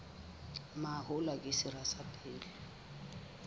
mahola ke sera sa pele